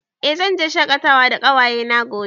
Eh, zamu fita shaƙatawa da ƙawaye na gobe